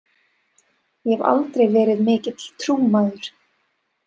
Ég hef aldrei verið mikill trúmaður.